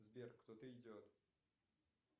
сбер кто то идет